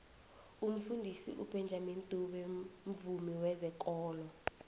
umfundisi ubenjamini dube mvumi wezekolo